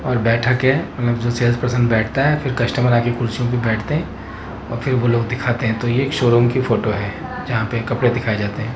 और बैठक है उनमें जो सेल्स पर्सन बैठता है फिर कस्टमर आके कुर्सियों पर बैठते हैं और फिर वो लोग दिखाते हैं तो ये एक शोरूम की फोटो है जहां पे कपड़े दिखाए जाते हैं।